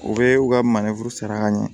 U bɛ u ka maneforo saraka ɲɛ